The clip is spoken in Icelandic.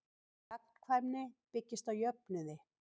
Gagnkvæmni byggist á jöfnuði.